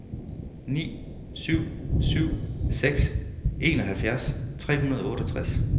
ni syv syv seks enoghalvfjerds tre hundrede og otteogtres